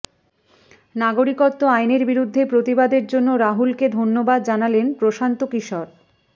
নাগরিকত্ব আইনের বিরুদ্ধে প্রতিবাদের জন্য রাহুলকে ধন্যবাদ জানালেন প্রশান্ত কিশোর